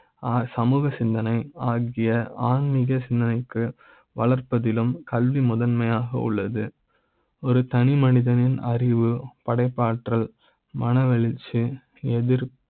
சமூக சிந்தனை ஆகிய ஆன்மிக சிந்தனை க்கு வளர்ப்பதிலும் கல்வி முதன்மை யாக உள்ளது ஒரு தனி மனித னின் அறிவு படைப்பாற்றல்மனவெழுச்சி எதிர்ப்